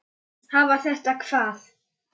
Slíkt getur aldrei endað vel.